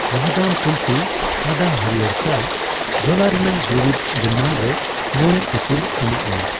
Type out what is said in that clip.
ᱣᱟᱦᱫᱟᱢ ᱛᱩᱞᱥᱤ ᱟᱫᱟ ᱦᱟᱹᱲᱭᱟᱹᱨ ᱪᱟ ᱡᱷᱚᱞᱟ ᱨᱮᱱᱟᱜ ᱫᱩᱨᱤᱵᱽ ᱜᱩᱱᱢᱟᱱ ᱨᱮ ᱢᱚᱲᱮ ᱤᱯᱤᱞ ᱮᱢᱟᱜ ᱢᱮ ᱾